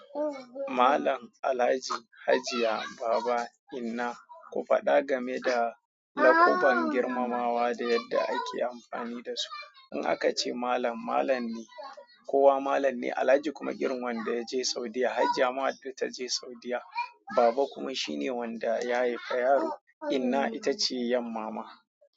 Malam, Alhaji, Hajiya, Baba, inna, ku faɗa game da lakaban girmamawa da yadda ake amfani da su. In aka ce Malam, Malam ne, kowa Malam ne, Alhaji kuma irin wanda ya je Saudiya, Hajiya ma wadda ta je Saudiya, Baba kuma shine wanda ya haifa yaro, inna ita ce yan mama.